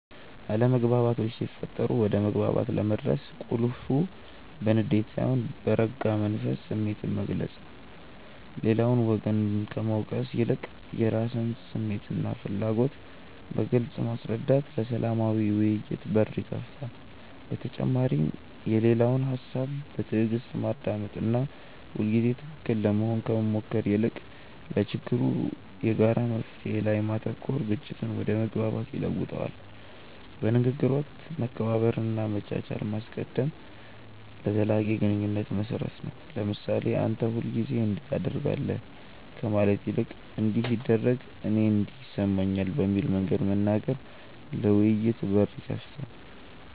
አለመግባባቶች ሲፈጠሩ ወደ መግባባት ለመድረስ ቁልፉ በንዴት ሳይሆን በረጋ መንፈስ ስሜትን መግለጽ ነው። ሌላውን ወገን ከመውቀስ ይልቅ የራስን ስሜትና ፍላጎት በግልጽ ማስረዳት ለሰላማዊ ውይይት በር ይከፍታል። በተጨማሪም የሌላውን ሰው ሃሳብ በትዕግስት ማዳመጥና ሁልጊዜ ትክክል ለመሆን ከመሞከር ይልቅ ለችግሩ የጋራ መፍትሔ ላይ ማተኮር ግጭትን ወደ መግባባት ይለውጠዋል። በንግግር ወቅት መከባበርንና መቻቻልን ማስቀደም ለዘላቂ ግንኙነት መሰረት ነው። ለምሳሌ "አንተ ሁልጊዜ እንዲህ ታደርጋለህ" ከማለት ይልቅ "እንዲህ ሲደረግ እኔ እንዲህ ይሰማኛል" በሚል መንገድ መናገር ለውይይት በር ይከፍታል።